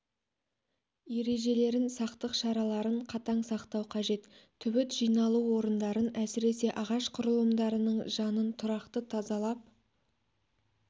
ережелерін сақтық шараларын қатаң сақтау қажет түбіт жиналу орындарын әсіресе ағаш құрылымдарының жанын тұрақты тазалап